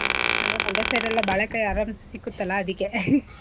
ಅಂದ್ರೆ ಮಂಡ್ಯ side ಎಲ್ಲಾ ಬಾಳೆಕಾಯಿ ಆರಾಮ್ಸೇ ಸಿಕ್ಕುತ್ತಲ್ಲಾ ಅದಿಕ್ಕೆ .